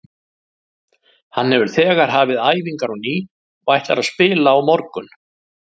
Hann hefur þegar hafið æfingar á ný og ætlar að spila á morgun.